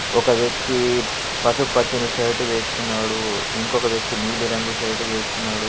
ఒక వ్యక్తి పసుపు పచ్చని షర్టు వేసుకున్నాడు. ఇంకొక వ్యక్తి నీలి రంగు షర్టు వేసుకున్నాడు.